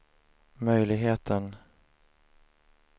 möjligheten